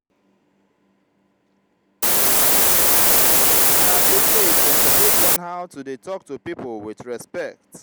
na dis age dem suppose learn how to dey tok to pipo wit respect.